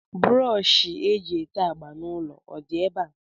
Brọọshị e ji ete agba n'ụlọ ọdị ebe a?